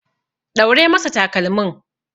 Ɗaure masa takalmin.